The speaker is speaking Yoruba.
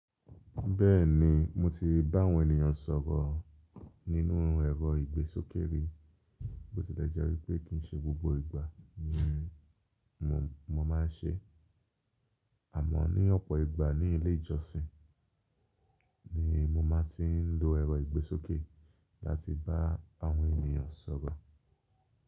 Bẹ́ẹ̀ni, mo ti bá àwọn ènìyàn sọ̀rọ̀ nínú ẹ̀rọ ìgbésókè rí, bó tilẹ̀ jẹ́ wípé kìI ṣe gbogbo ìgbà ni mo, ni mo máa ń ṣeé. Àmọ́ ní ọ̀pọ̀ ìgbà ní ilé ìjọsìn ni mo máa ti ń lo ẹ̀rọ ìgbésókè láti bá àwọn ènìyàn sọ̀rọ̀.